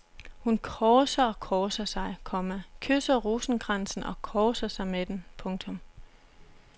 Hun korser og korser sig, komma kysser rosenkransen og korser sig med den. punktum